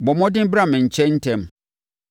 Bɔ mmɔden bra me nkyɛn ntɛm.